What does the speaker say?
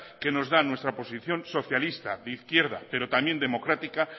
que nos da nuestra posición socialista de izquierda pero también democrática